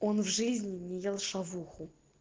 он в жизни не ел шавуху